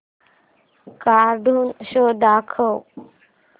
cartoon show दाखव